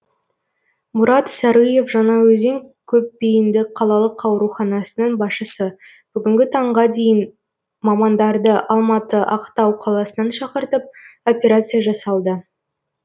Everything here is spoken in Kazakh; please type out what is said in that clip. мұрат сарыев жаңаөзен көпбейінді қалалық ауруханасының басшысы бүгінгі таңға дейін мамандарды алматы ақтау қаласынан шақыртып операция жасалды